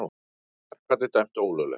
Verkfallið dæmt ólöglegt